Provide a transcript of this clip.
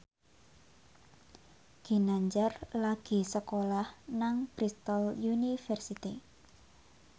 Ginanjar lagi sekolah nang Bristol university